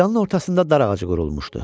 Meydanın ortasında dar ağacı qurulmuşdu.